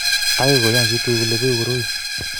agoi kuyan chitugul kole beku koroi